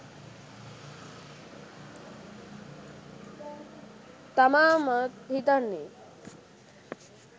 තමා මාත් හිතන්නේ.